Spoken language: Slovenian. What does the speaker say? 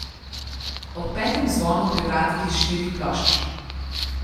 Ob petem zvonu pri vratih iz štirih plošč.